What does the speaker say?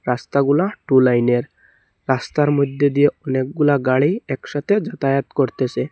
রাস্তাগুলা two লাইনের রাস্তার মধ্যে দিয়ে অনেকগুলা গাড়ি একসাথে যাতায়াত করতেসে।